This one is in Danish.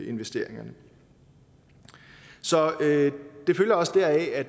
investeringerne så det følger også deraf at